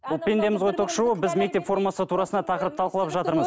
бұл пендеміз ғой ток шоуы біз мектеп формасы турасында тақырып талқылап жатырмыз